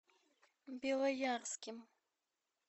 белоярским